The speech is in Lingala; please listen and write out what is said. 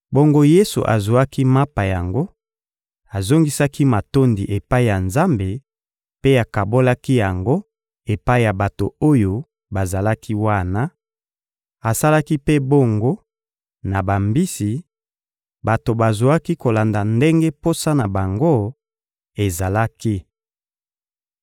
Bongo Yesu azwaki mapa yango, azongisaki matondi epai ya Nzambe mpe akabolaki yango epai ya bato oyo bazalaki wana; asalaki mpe bongo na bambisi: bato bazwaki kolanda ndenge posa na bango ezalaki.